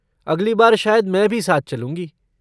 अगली बार शायद मैं भी साथ चलूँगी।